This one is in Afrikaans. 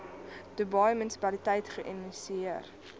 dubai munisipaliteit geïnisieer